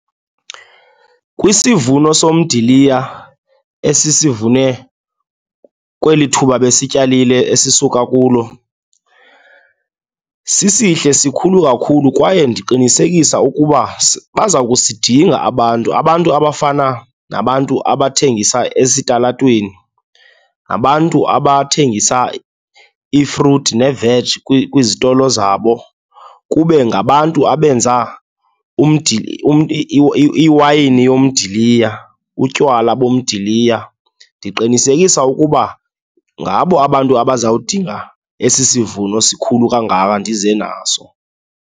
Kwisivuno somdiliya esisivune kweli thuba besityalile esisuka kulo, sisihle, sikhulu kakhulu kwaye ndiqinisekisa ukuba baza kusidinga abantu. Abantu abafana nabantu abathengisa esitalatweni, nabantu abathengisa iifruthi neeveji kwizitolo zabo, kube ngabantu abenza iwayini yomdiliya, utywala bomdiliya. Ndiqinisekisa ukuba ngabo abantu abaza kudinga esi sivuno sikhulu kangaka ndize naso.